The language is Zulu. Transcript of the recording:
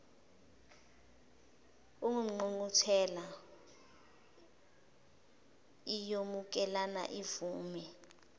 ingqungquthela iyomukela ivume